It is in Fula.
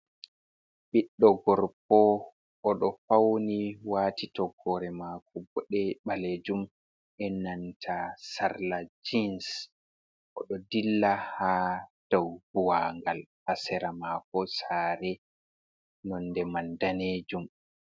Ɓiɗɗo gorko, oɗo fauni wati toggore mako boɗe ɓaleejuum, ɓe ennanta sarla jins, oɗo dilla ha dau buuwangal, hasera mako share, nonde man daneejuum..